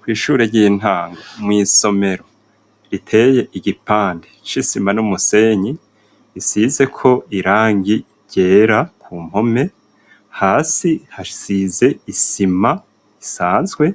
Kw'ishure ry'intango, mw'isomero riteye igipande c'isima n'umusenyi, isizeko irangi ryera ku mpome . Hasi, hasize isima isanzwe,